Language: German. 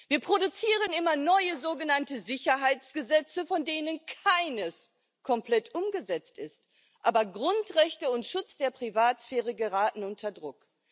Wir produzieren immer neue sogenannte Sicherheitsgesetze, von denen keines komplett umgesetzt ist, aber die Grundrechte und der Schutz der Privatsphäre geraten unter Druck.